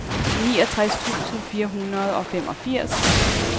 niogtres tusind fire hundrede og femogfirs